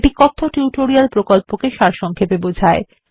এটি কথ্য টিউটোরিয়াল প্রকল্পকে সারসংক্ষেপে বোঝায়